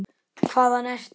Hvaðan ertu?